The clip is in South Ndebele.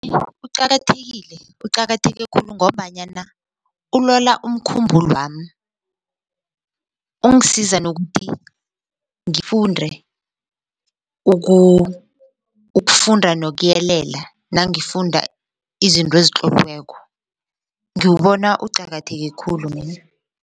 Uqakathekile uqakatheke khulu ngombanyana ulola umkhumbulwami ungisiza nokuthi ngifunde ukufunda nokuyelela nangifunda izinto ezitloliweko ngiwubona uqakatheke khulu mina.